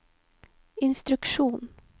instruksjon